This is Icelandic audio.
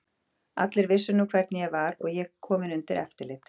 Allir vissu nú hvernig ég var og ég kominn undir eftirlit.